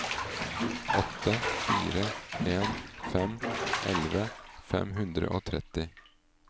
åtte fire en fem elleve fem hundre og tretti